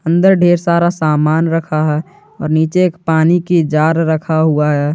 अंदर ढेर सारा सामान रखा है और नीचे पानी की जार रखा हुआ है।